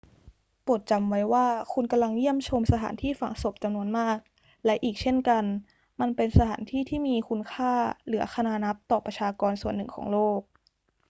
โปรดจำไว้ว่าคุณกำลังเยี่ยมชมสถานที่ฝังศพจำนวนมาก และอีกเช่นกัน มันเป็นสถานที่ที่มีคุณค่าเหลือคณานับต่อประชากรส่วนหนึ่งของโลก